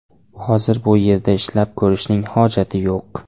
Hozir bu yerda ishlab ko‘rishning hojati yo‘q.